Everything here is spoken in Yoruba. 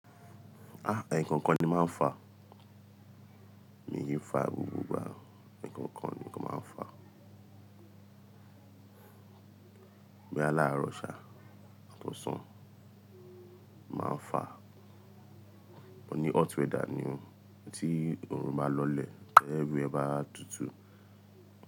Ah! Ẹ̀ẹ̀kọ̀kan ni máa ń fà, mi ki n fà gbogbo ìgbà, ẹ̀ẹ̀kọ̀kan ni kó máa ń fà. Boya lárọṣà tó san máa ń fà, òní hot weather ni o, tí oòrùn bá lọlẹ̀, ti everywhere bá tutù.